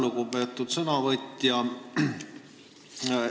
Lugupeetud sõnavõtja!